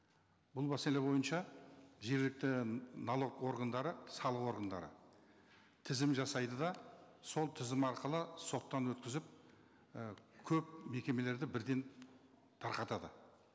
бұл мәселе бойынша жергілікті налог органдары салық органдары тізім жасайды да сол тізім арқылы соттан өткізіп і көп мекемелерді бірден тарқатады